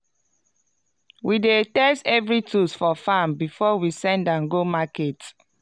we dey test every tools for farm before we send am go market.